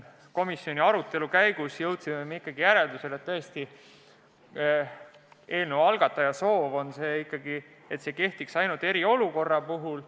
Komisjoni arutelu käigus jõudsime me sellisele järeldusele: eelnõu algataja soovib, et see kehtiks ikkagi ainult eriolukorra puhul.